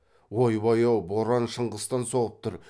ойбай ау боран шыңғыстан соғып тұр